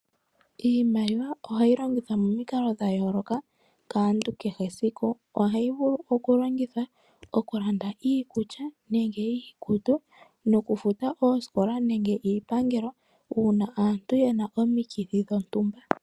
Iimaliwa ohayi longithwa momikalo dhayooloka kaantu kehe esiku. Ohayi vulu okulongithwa okulanda iikulya nenge iikutu nokufuta oosikola nenge iipangelo uuna aantu ye na omikithi dhontumba.